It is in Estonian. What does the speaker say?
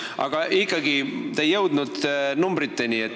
Aga ikkagi, te ei jõudnud numbriteni.